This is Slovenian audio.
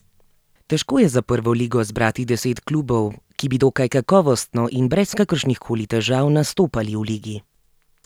Težko je za prvo ligo zbrati deset klubov, ki bi dokaj kakovostno in brez kakršnihkoli težav nastopali v ligi.